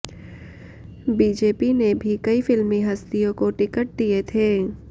BJP ने भी कई फिल्मी हस्तियों को टिकट दिए थे